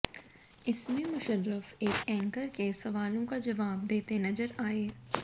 इसमें मुशर्रफ एक ऐंकर के सवालों का जवाब देते नजर आए